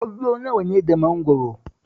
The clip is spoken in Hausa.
Ƙwallo nawa ne da mangwaro?